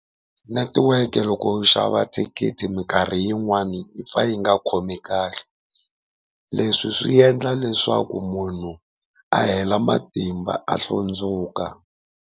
Netiweke loko u xava thikithi minkarhi yin'wani yi pfa yi nga khomi kahle, leswi swi endla leswaku munhu a hela matimba a hlundzuka.